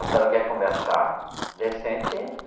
A senhora quer conversar decente, entra.